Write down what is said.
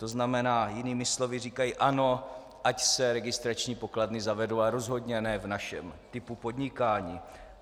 To znamená jinými slovy, říkají ano, ať se registrační pokladny zavedou, ale rozhodně ne v našem typu podnikání.